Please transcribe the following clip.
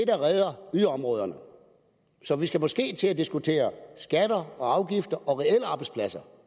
der redder yderområderne så vi skal måske til at diskutere skatter og afgifter og reelle arbejdspladser